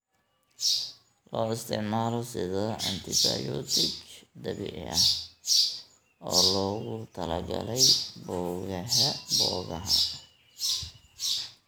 Loo isticmaalo sida antibiyootig dabiici ah oo loogu talagalay boogaha.